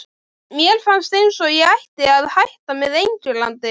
Mér fannst eins og ég ætti að hætta með Englandi?